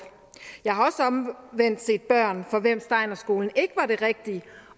jeg har omvendt også set børn for hvem steiner skolen ikke var det rigtige